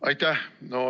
Aitäh!